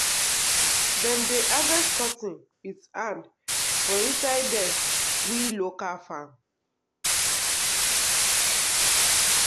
cocoa trees dey draw butterflies and bees when e reach him him time to flower.